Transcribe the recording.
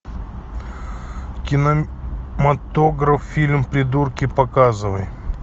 кинематограф фильм придурки показывай